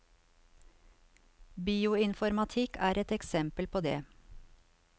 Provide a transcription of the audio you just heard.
Bioinformatikk er et eksempel på det.